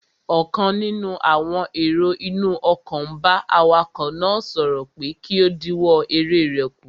Ọ̀kan nínú àwọn èrò inú ọkọ̀ n bá awakọ̀ náà sọ̀rọ̀ pé kí ó dínwọ́ eré rẹ̀ kù